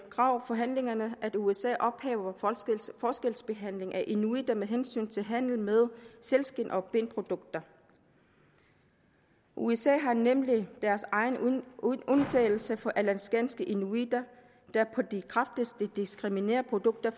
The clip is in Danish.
krav i forhandlingerne at usa ophæver forskelsbehandlingen af inuitter med hensyn til handel med sælskind og benprodukter usa har nemlig deres egen undtagelse for alaskanske inuitter der på det kraftigste diskriminerer produkter